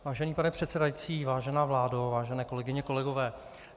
Vážený pane předsedající, vážená vládo, vážené kolegyně, kolegové.